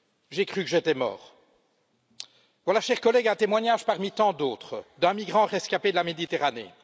J'ai cru que j'étais mort. Voilà, chers collègues, un témoignage parmi tant d'autres d'un migrant rescapé de la Méditerranée.